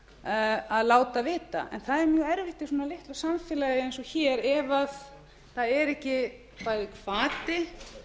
en það er mjög erfitt í svona litlu samfélagi eins og hér ef það er ekki bæði hvati